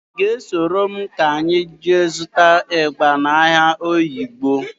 Ị ga-esoro m ka anyị ga zụta ịgba n'ahịa Oyigbo?